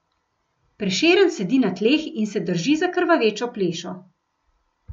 Prešeren sedi na tleh in se drži za krvavečo plešo.